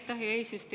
Aitäh, hea eesistuja!